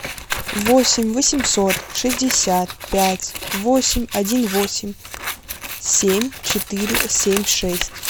восемь восемьсот шестьдесят пять восемь один восемь семь четыре семь шесть